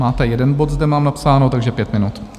Máte jeden bod, zde mám napsáno, takže pět minut.